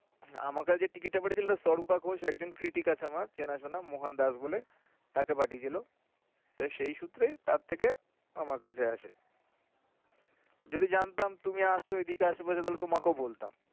হ্যা আমাকে যে ticket টা করে দিলো সর্পা ঘোষ একজন critic আছে আমার চেনা শোনা মোহন দাস বলে তো সেই সূত্রে তার থেকে আমার কাছেও আসে। যদি জানতাম তুমি আছো এদিকে আশে পাশে তাহলে তোমাকেও বলতাম।